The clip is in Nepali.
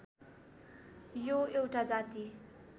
यो एउटा जाति